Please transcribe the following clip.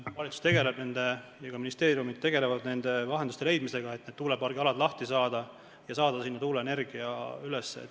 Valitsus ja ka ministeeriumid tegelevad lahenduste leidmisega, et tuulepargialadel takistustest lahti saada ja seada seal tuuleenergia tootmine üles.